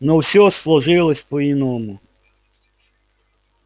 но всё сложилось по иному